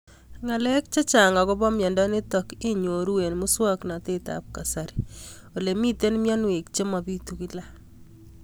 Ng'alek chechang' akopo miondo nitok inyoru eng' muswog'natet ab kasari ole mito mianwek che mapitu kila